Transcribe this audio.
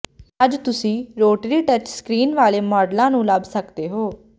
ਅੱਜ ਤੁਸੀਂ rotary touch screen ਵਾਲੇ ਮਾਡਲਾਂ ਨੂੰ ਲੱਭ ਸਕਦੇ ਹੋ